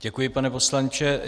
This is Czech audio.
Děkuji, pane poslanče.